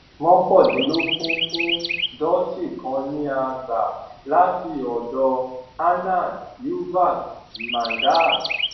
mọkàndínlógún fún dhoti kan ni a gbà láti ọdọ anand yuvak mandal